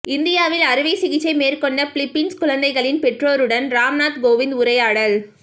இந்தியாவில் அறுவை சிகிச்சை மேற்கொண்ட பிலிப்பின்ஸ் குழந்தைகளின் பெற்றோருடன் ராம்நாத் கோவிந்த் உரையாடல்